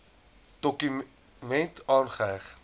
dokument aangeheg